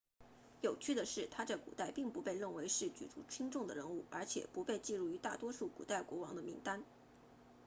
有趣的是他在古代并不被认为是举足轻重的人物而且不被记录于大多数古代国王的名单